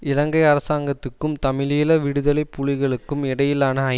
இலங்கை அரசாங்கத்துக்கும் தமிழீழ விடுதலை புலிகளுக்கும் இடையிலான